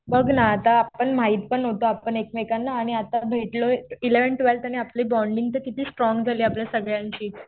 बघ ना आता आपण माहित पण नव्हतो आपण एकमेकांना आणि आता भेटलोय. एलेव्हन्थ, ट्वेल्थ आणि आपली बॉण्डिंग तर किती स्ट्रॉंग झाली आपलय सगळ्यांची.